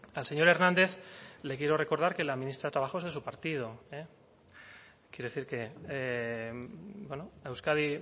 al señor hernández le quiero recordar que la ministra de trabajo es de su partido eh quiero decir en euskadi